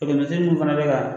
Tɔkɛnɛsen mun fana bɛ ka